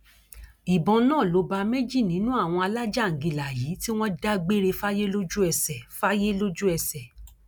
ìbọn náà ló bá méjì nínú àwọn alájàńgílà yìí tí wọn dágbére fáyé lójúẹsẹ fáyé lójúẹsẹ